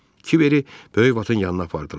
Kibəri böyük Vatın yanına apardılar.